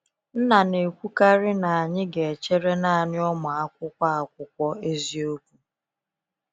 Nna na ekwu karị na anyị ga echere naanị ụmụ akwụkwọ akwụkwọ eziokwu.